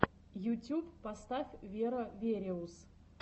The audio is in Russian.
ютюб поставь веро вериус